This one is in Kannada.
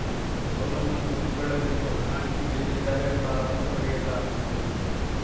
ಸೋಲನ್ನು ಒಪ್ಪಿಕೊಳ್ಳಬೇಕು ಹಣ ಹಂಚಿ ಗೆದ್ದಿದ್ದಾರೆ ಎಂಬ ಆರೋಪ ಸರಿಯಲ್ಲ ಎಂದರು